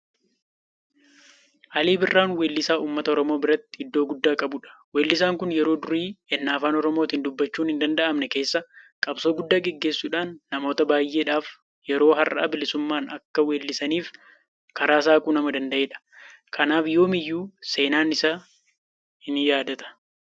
Alii birraan weellisaa uummata Oromoo biratti iddoo guddaa qabudha. Weellisaan kun yeroo durii ennaa Afaan Oromootiin dubbachuun hindanda'amne keessa qabsoo guddaa gaggeessuudhaan namoota baay'eedhaaf yeroo har'aa bilisummaadhaan akka weellisaniif karaa saaquu nama danda'edha. Kanaaf yoomiyyuu seenaan isaan yaadata.